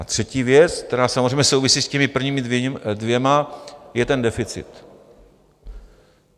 A třetí věc, která samozřejmě souvisí s těmi prvními dvěma, je ten deficit.